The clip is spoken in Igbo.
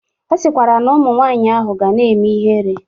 Ọ sịkwara na ụmụ nwaanyị ahụ ga na-eme ihere.